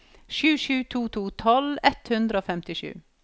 sju sju to to tolv ett hundre og femtisju